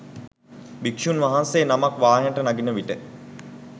භික්ෂූන් වහන්සේ නමක් වාහනයට නගිනවිට